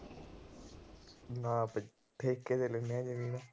ਨਾ ਬਈ, ਠੇਕੇ ਤੇ ਲੈਣੇ ਆ ਜਮੀਨ।